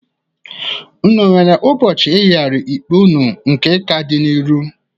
Unu nwere ụbọchị eyigarịrị ikpe unu nke ka dị n'iru?